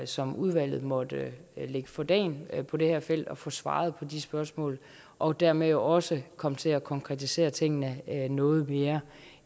som udvalget måtte lægge for dagen på det her felt at få svaret på de spørgsmål og dermed jo også komme til at konkretisere tingene noget mere